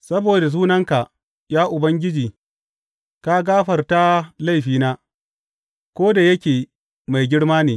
Saboda sunanka, ya Ubangiji, ka gafarta laifina, ko da yake mai girma ne.